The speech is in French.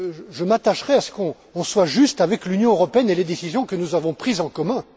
Je m'attacherai à ce que l'on soit juste avec l'Union européenne et les décisions que nous avons prises en commun.